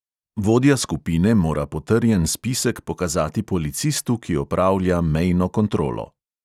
Vodja skupine mora potrjen spisek pokazati policistu, ki opravlja mejno kontrolo.